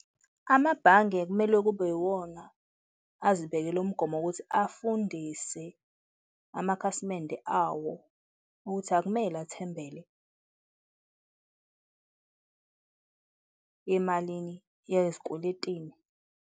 Amabhange kumele kube iwona azibekela umgomo wokuthi afundise amakhasimende awo ukuthi akumele athembele emalini yezikweletini.